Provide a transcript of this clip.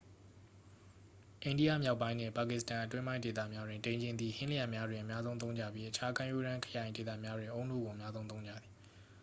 အိန္ဒိယမြောက်ပိုင်းနှင့် ပါကစ္စတန် အတွင်းပိုင်းဒေသများတွင် ဒိန်ချဉ်သည် ဟင်းလျာများတွင် အများဆုံးသုံးကြပြီး အခြားကမ်းရိုးတန်း ခရိုင်ဒေသများတွင် အုန်းနို့ကို အများဆုံးသုံးကြသည်